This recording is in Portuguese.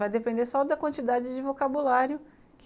Vai depender só da quantidade de vocabulário que